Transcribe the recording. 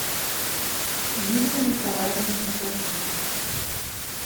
юлия николаевна евдокимова